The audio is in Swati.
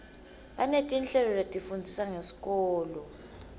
banetinhlelo letifundzisa ngesikolo